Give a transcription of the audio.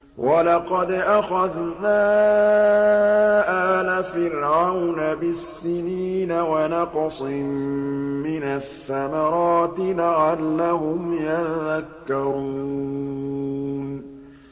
وَلَقَدْ أَخَذْنَا آلَ فِرْعَوْنَ بِالسِّنِينَ وَنَقْصٍ مِّنَ الثَّمَرَاتِ لَعَلَّهُمْ يَذَّكَّرُونَ